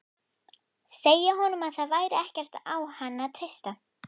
Segja honum að það væri ekkert á hann að treysta.